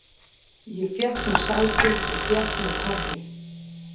Ég fékk mér sæti og fékk mér kaffi.